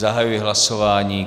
Zahajuji hlasování.